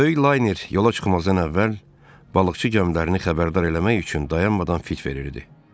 Böyük layner yola çıxmazdan əvvəl balıqçı gəmilərini xəbərdar eləmək üçün dayanmadan fit verirdi.